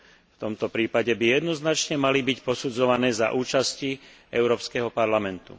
v tomto prípade, by jednoznačne mali byť posudzované za účasti Európskeho parlamentu.